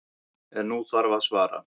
En nú þarf að svara.